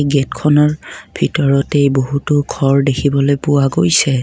গেটখনৰ ভিতৰতেই বহুতো ঘৰ দেখিবলৈ পোৱা গৈছে।